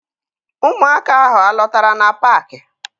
Ụmụaka ahụ alọtara na paakị?